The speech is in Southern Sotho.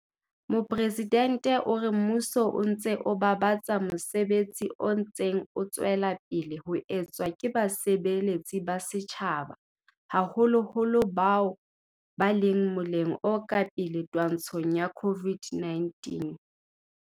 Mopresidente o re mmuso o babatsa mosebetsi o ntseng o tswela pele ho etswa ke basebeletsi ba setjhaba, haholoholo bao ba leng mo-leng o ka pele twantshong ya COVID-19.